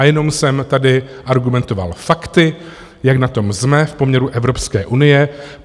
A jenom jsem tady argumentoval fakty, jak na tom jsme v poměru Evropské unie.